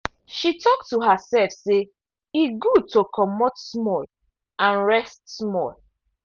she talk to herself say e good to comot small and rest small.